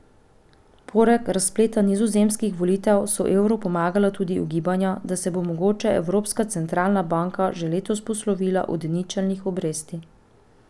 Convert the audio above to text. Poleg razpleta nizozemskih volitev so evru pomagala tudi ugibanja, da se bo mogoče Evropska centralna banka že letos poslovila od ničelnih obresti.